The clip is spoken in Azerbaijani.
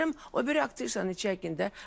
Deyirəm, o biri aktrisanı çəkin də.